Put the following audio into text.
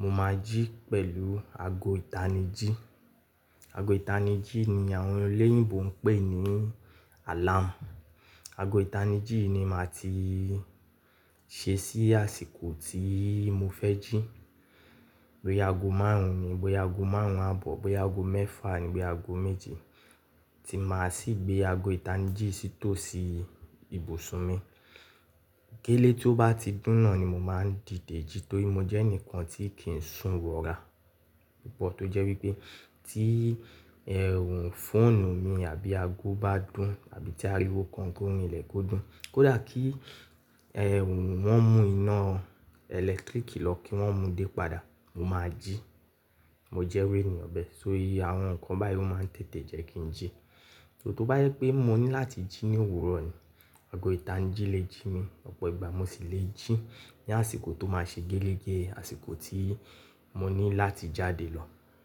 mo máa jí pẹ̀lú ago ìtanijí. Ago ìtanijí ni àwọn eléyìnbó ń pè ní alarm. Ago ìtanijí ni màá ti ṣe sí àsìkò tí mo fẹ́ jí. Bóyá ago márùn-ún ni, Bóyá ago márùn-ún àbọ̀, Bóyá ago mẹ́fà ni, Bóyá ago méje, tí màá sì gbé ago ìtanijí yii sì tòsí ibùsùn mi. Gélé tó bá ti dún naa ni mo máa ń dìde jí torí mo jẹ́ ẹnìkan tí kì í sun wọ́ra púpọ̀ tó jẹ́ wípé tí ermm fóònù mi àbí ago bá dún, àbí tí ariwo kan ko rinlè kó dún, kódà kí ermm wọn mú iná ẹ̀lẹ́tíríkì lọ kí wọn mú dé padà, mo máa jí. Mo jẹ́'ru ènìyàn bẹ́ẹ̀. Só iye àwọn nǹkan báyìí ó máa ń tètè jẹ́ kí n jí. So, tó bá jẹ pé mo ní láti jí ní òwúrọ̀ ni, ago ìtanijí lè jí mi, ọ̀pọ̀ ìgbà mo sì lè jí ní àsìkò tó máa ṣe gẹ́lẹ́gẹ́, àsìkò tí mo ní láti jáde lọ.